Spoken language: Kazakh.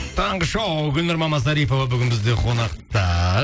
таңғы шоу гүлнұр мамасарипова бүгін бізде конақта